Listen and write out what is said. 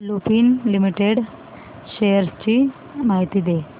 Lupin limited shares ची माहिती दे